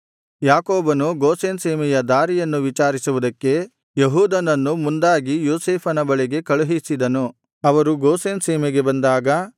ಯಾಕೋಬನು ಗೋಷೆನ್ ಸೀಮೆಯ ದಾರಿಯನ್ನು ವಿಚಾರಿಸುವುದಕ್ಕೆ ಯೆಹೂದನನ್ನು ಮುಂದಾಗಿ ಯೋಸೇಫನ ಬಳಿಗೆ ಕಳುಹಿಸಿದನು ಅವರು ಗೋಷೆನ್ ಸೀಮೆಗೆ ಬಂದಾಗ